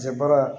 Cɛ baara